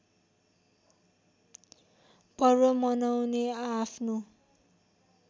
पर्व मनाउने आआफ्नो